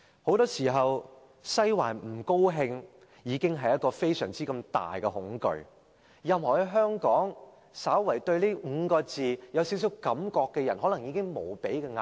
很多時候，"西環不高興"已造成非常大的恐懼，在香港對這5個字稍有感覺的人，可能已感受到無比壓力。